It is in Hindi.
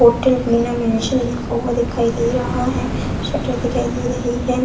होटल बीना मेंशन लिखा हुआ दिखाई दे रहा है शटर दिखाई दे रही है।